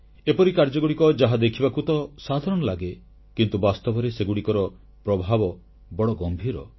ଏପରି କାର୍ଯ୍ୟଗୁଡ଼ିକ ଯାହା ଦେଖିବାକୁ ତ ସାଧାରଣ ଲାଗେ କିନ୍ତୁ ବାସ୍ତବରେ ସେଗୁଡ଼ିକର ପ୍ରଭାବ ବଡ଼ ଗମ୍ଭୀର